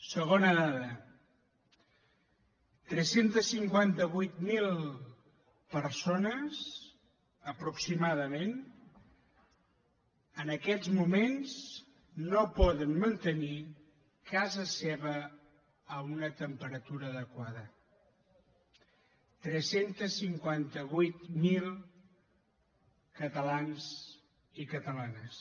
segona dada tres cents i cinquanta vuit mil persones aproximadament en aquests moments no poden mantenir casa seva a una temperatura adequada tres cents i cinquanta vuit mil catalans i catalanes